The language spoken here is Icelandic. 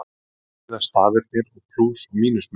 Hvað þýða stafirnir og plús- og mínusmerkin?